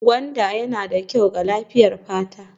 Gwanda yana da kyau ga lafiyar fata